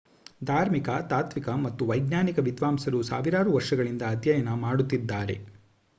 ಧಾರ್ಮಿಕ ತಾತ್ವಿಕ ಮತ್ತು ವೈಜ್ಞಾನಿಕ ವಿದ್ವಾಂಸರು ಸಾವಿರಾರು ವರ್ಷಗಳಿಂದ ಅಧ್ಯಯನ ಮಾಡುತ್ತಿದ್ದಾರೆ